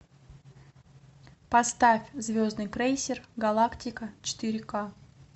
поставь звездный крейсер галактика четыре ка